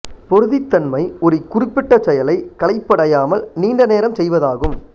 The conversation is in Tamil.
பொறுதித்தன்மை ஒரு குறிப்பிட்ட செயலை களைப்படையாமல் நீண்ட நேரம் செய்வதாகும்